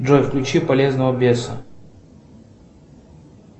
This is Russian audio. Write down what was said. джой включи полезного беса